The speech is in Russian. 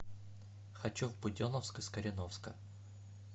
хочу в буденновск из кореновска